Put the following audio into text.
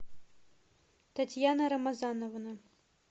татьяна рамазановна